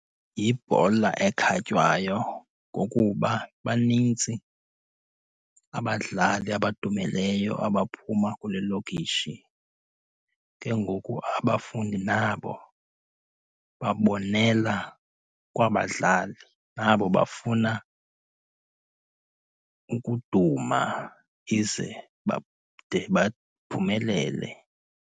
Yibhola ekhatywayo ngokuba banintsi abadlali abadumileyo abaphuma kule lokishi. Ke ngoku abafundi nabo babonela kwaba 'dlali. Nabo bafuna ukuduma ize bade baphumelele.